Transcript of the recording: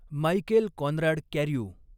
Michael Conrad Carew